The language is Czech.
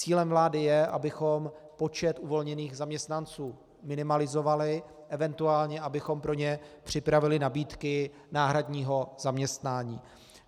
Cílem vlády je, abychom počet uvolněných zaměstnanců minimalizovali, eventuálně abychom pro ně připravili nabídky náhradního zaměstnání.